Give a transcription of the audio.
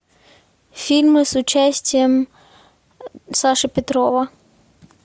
фильмы с участием саши петрова